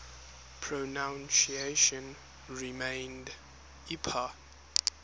pronunciation remained ipa